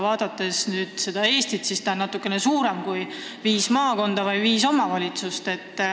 Aga Eesti on natukene suurem kui viis maakonda või viis omavalitsust.